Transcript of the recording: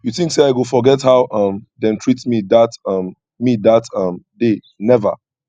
you tink sey i go forget how um dem treat me dat um me dat um day never